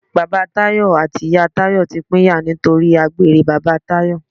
Bàbá Tayọ àti ìyá Tayọ ti pínyà nítorí àgbèrè bàbá Tayọ.